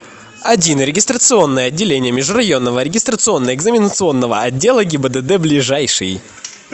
один регистрационное отделение межрайонного регистрационно экзаменационного отдела гибдд ближайший